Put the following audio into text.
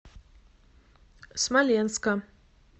смоленска